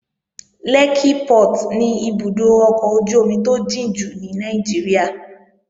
Lẹ́kkí Port ni ibùdó ọkọ̀ ojú-omi tó jìn jù ní Nàìjíríà